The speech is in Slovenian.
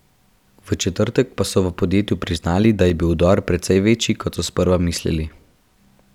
V četrtek pa so v podjetju priznali, da je bil vdor precej večji, kot so sprva mislili.